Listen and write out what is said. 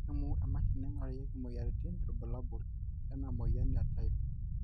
kelimu emashini naingurarieki imoyiaritin irbulabol lena moyian e type